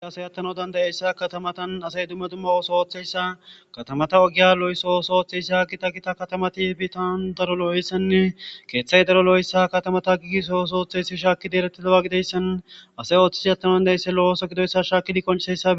ay asy attano dandayeyssa katamatan asay dumma dumma ooso ooththeyssa katamata ogiya lo7sooso oththeysia gita gita katamati hbitan daro loo7eyssanne keeththay daro lo7oessa katamata giigiso osooththeyssi shaakki deeretti dawa gideyssan asey ooththisi attano dandayeysse lo7ooso gidoysa shaakidi konchisayssa